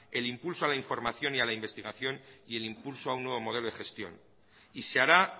el impulso a la información y al investigación y el impulso a un nuevo modelo de gestión y se hará